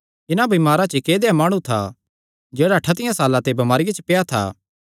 इन्हां बमारां च इक्क ऐदेया माणु था जेह्ड़ा ठतियां साल्लां ते बमारिया च पेआ था